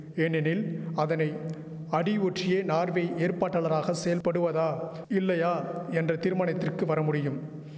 ஏனெனில் அதனை அடி ஒற்றியே நார்வே ஏற்பாட்டாளராக செயல்படுவதா இல்லையா என்ற தீர்மனத்திற்கு வரமுடியும்